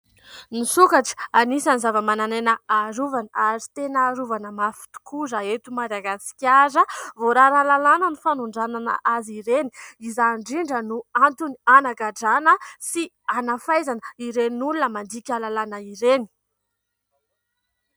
Ny sokatra anisany zava-mananaina harovana ary tena harovana mafy tokoa. Raha eto Madagasikara voarara ny lalàna ny fanondranana azy ireny, izany indrindra no antony hanagadrana sy hanafaizana ireny olona mandika lalàna ireny.